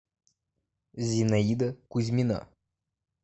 зинаида кузьмина